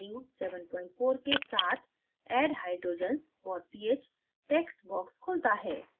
default value 74 के साथ add hydrogens for ph text box खुलता है